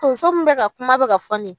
Tonso min bɛ ka kuma bɛ ka fɔ ni.